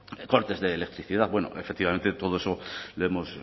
cortes de electricidad bueno efectivamente todo eso lo hemos